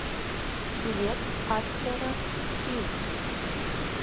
билет атерра сьют